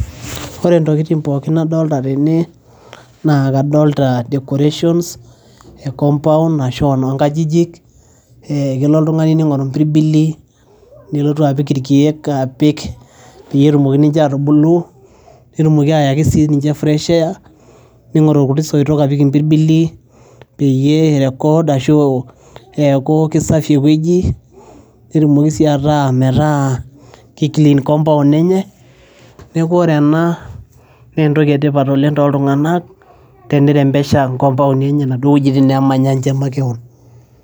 ore ntokitin pookin nadolta tene naa kadolta decorations e compound ashu enonkajijik eh kelo oltung'ani ning'oru impirbili nelotu apik irkiek apik peyie etumoki ninche atubulu netumoki ayaki sininche fresh air ning'oru irkuti soitok apik impirbili peyie ei record ashu eeku kisafi ewueji netumoki sii ataa metaa kei clean compound enye neku ore ena nentoki etipat oleng toltung'anak tenirembesha inkompauni inaduo wuejiti nemanya inche makewon.